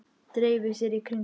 Dreifi sér í kringum hann.